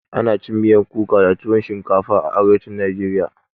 Ana cin miyan kuka da tuwon shinkafa a arewacin najeriya